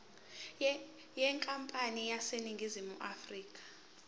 yenkampani eseningizimu afrika